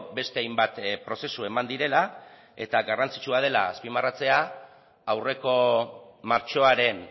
beste hainbat prozesu eman direla eta garrantzitsua dela azpimarratzea aurreko martxoaren